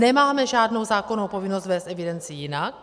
Nemáme žádnou zákonnou povinnost vést evidenci jinak.